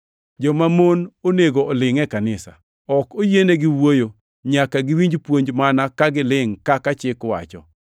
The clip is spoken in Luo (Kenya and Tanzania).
jomamon onego olingʼ e kanisa. Ok oyienigi wuoyo, nyaka giwinj puonj mana ka gilingʼ kaka chik wacho.